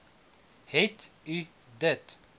het u dit